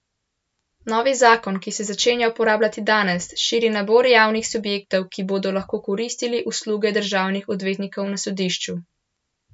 Novi zakon, ki se začenja uporabljati danes, širi nabor javnih subjektov, ki bodo lahko koristili usluge državnih odvetnikov na sodišču.